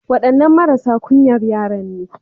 Waɗannan marasa ƙunyan yaran nan ne.